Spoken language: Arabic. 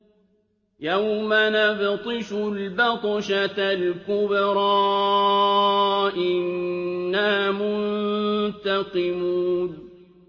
يَوْمَ نَبْطِشُ الْبَطْشَةَ الْكُبْرَىٰ إِنَّا مُنتَقِمُونَ